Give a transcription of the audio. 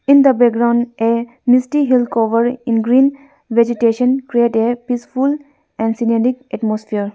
in the background a misty hill cover in green vegetation create a peaceful and scenedic atmosphere.